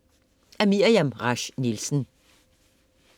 Af Miriam Rasch Nielsen